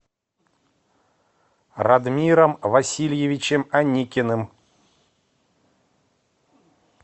радмиром васильевичем аникиным